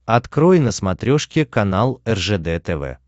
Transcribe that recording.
открой на смотрешке канал ржд тв